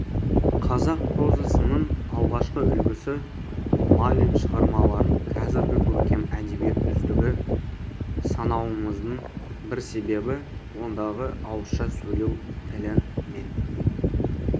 қазақ прозасының алғашқы үлгісі майлин шығармаларын қазіргі көркем әдебиет үздігі санауымыздың бір себебі ондағы ауызша сөйлеу тілі мен